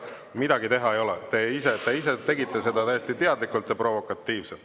Midagi teha ei ole, te ise tegite seda täiesti teadlikult ja provokatiivselt.